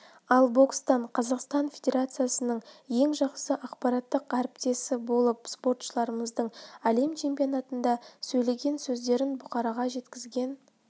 ал бокстан қазақстан федерациясының ең жақсы ақпараттық әріптесіболып спортшыларымыздың әлем чемпионатында сөйлеген сөздерін бұқараға жеткізген